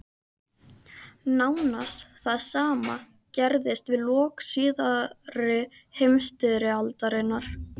Nánast það sama gerðist við lok síðari heimsstyrjaldarinnar.